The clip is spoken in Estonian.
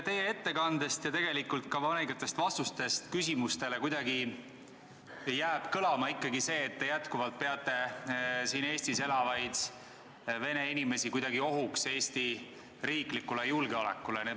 Teie ettekandest ja tegelikult ka mõningatest küsimustele antud vastustest jääb kõlama ikkagi see, et te jätkuvalt peate siin Eestis elavaid vene inimesi kuidagi ohuks Eesti riiklikule julgeolekule.